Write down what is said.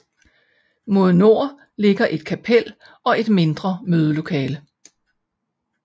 Mod nord ligger et kapel og et mindre mødelokale